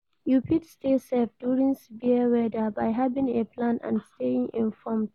You fit stay safe during severe weather by having a plan and staying informed.